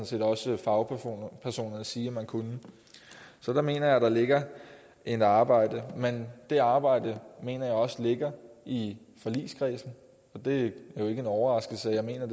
set også fagpersoner sige at man kunne så der mener jeg der ligger et arbejde men det arbejde mener jeg også ligger i forligskredsen og det er jo ikke en overraskelse at jeg mener